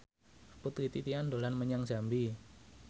Putri Titian dolan menyang Jambi